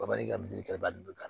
Bali ka miiri ka ba de ka